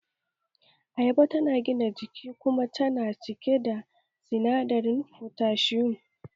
Ayaba tana da gina jiki kuma tana cike da sinadarin fotashiyum